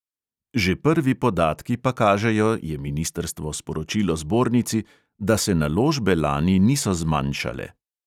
Že prvi podatki pa kažejo, je ministrstvo sporočilo zbornici, da se naložbe lani niso zmanjšale.